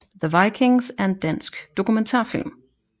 The Vikings er en dansk dokumentarfilm